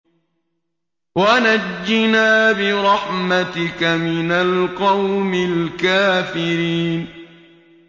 وَنَجِّنَا بِرَحْمَتِكَ مِنَ الْقَوْمِ الْكَافِرِينَ